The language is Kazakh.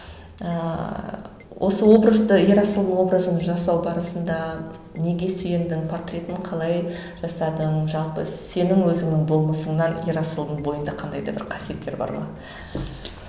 ыыы осы образды ерасыл образын жасау барысында неге сүйендің портретін қалай жасадың жалпы сенің өзіңнің болмысыңнан ерасылдың бойында қандай да бір қасиеттер бар ма